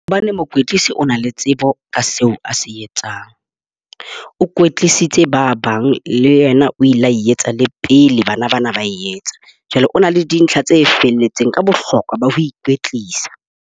Hobane mokwetlisi o na le tsebo ka seo a se etsang. O kwetlisitse ba bang le yena o la etsa le pele bana bana ba e etsa. Jwale o na le dintlha tse felletseng ka bohlokwa ba ho ikwetlisa.